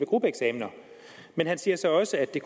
gruppeeksamen men han sagde så også at det